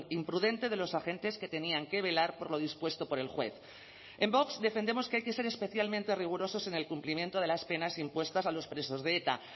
imprudente de los agentes que tenían que velar por lo dispuesto por el juez en vox defendemos que hay que ser especialmente rigurosos en el cumplimiento de las penas impuestas a los presos de eta